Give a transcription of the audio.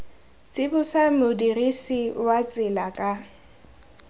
tsibosa modirisi wa tsela ka